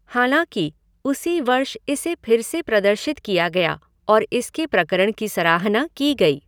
हालांकि, उसी वर्ष इसे फिर से प्रदर्शित किया गया और इसके प्रकरण की सराहना की गई।